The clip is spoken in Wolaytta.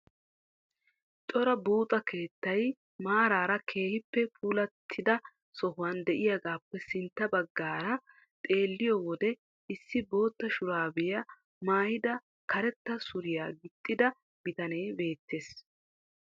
Cora buuxa keettay maaraara keehippe puulattida sohuwan de'iyagaappe sintta baggaara xeelliyo wode issi bootta shuraabiya maayidi karetta suriya gixxida bitanee beettees.